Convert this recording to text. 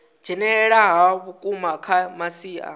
dzhenelela ha vhukuma kha masia